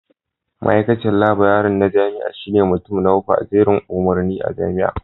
Ma'aikacin Laburare na jami'a shine mutum na uku a jerin umarni a Jami'ar